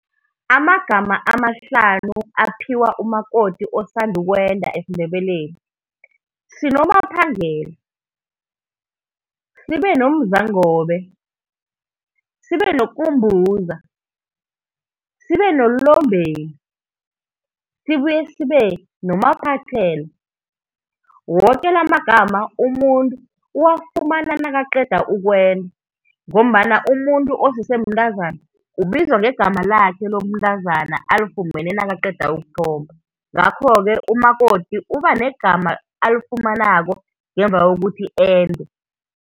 Amagama amahlanu aphiwa umakoti osanda ukwenda esiNdebeleni, sinoMaphangela, sibe noMzangobe, sibe noKumbuza, sibe noLombeni sibuye sibe noMaphathela. Woke la amagama umuntu uwafumana nakaqeda ukwenda, ngombana umuntu osese mntazana ubizwa ngegama lakhe lobuntazana alifumene nakaqeda ukuthomba. Ngakho-ke umakoti uba negama alifumanako ngemuva kokuthi ende.